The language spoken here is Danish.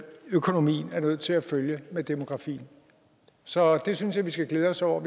økonomien er nødt til at følge med demografien så jeg synes at vi skal glæde os over